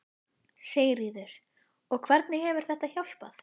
Sigríður: Og hvernig hefur þetta hjálpað?